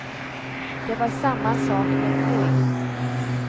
Det var samma sak med flyg.